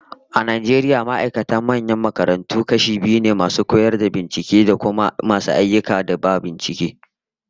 A Najeriya ma'aikatan manyan makarantu kashi biyu ne, masu koyarwa da binciken, da kuma masu ayyukan da ba koyarwa da bincike ba